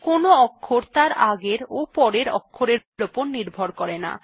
কোনো অক্ষর তার আগের এবং পরের অক্ষরের উপর নির্ভর করে না